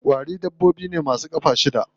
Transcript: Ƙwari dabbobi ne ma su ƙafa shida.